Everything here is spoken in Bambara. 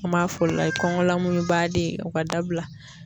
An b'a fɔ o la kɔngɔ lamuɲubaden o ka dabila.